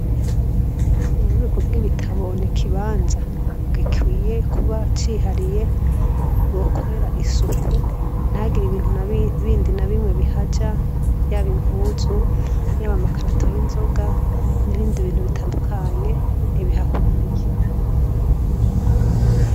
M'ububiko bw'ibitabo, n'ikibanza gikwiye kuba cihariye bokorera isuku nihagire ibindi bintu nabimwe bindi bihaja, yaba impuzu, yaba amakarato y'inzoga n'ibindi bintu bitandukanye ntibihakwiriye.